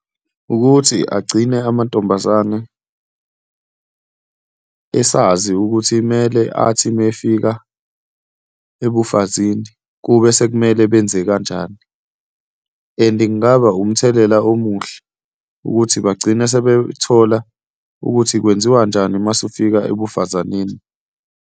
Wukuthi agcine amantombazane esazi ukuthi mele athi uma efika ebufazini kube sekumele benze kanjani and kungaba umthelela omuhle ukuthi bagcine sebethola ukuthi kwenziwanjani uma usufika ebufazaneni.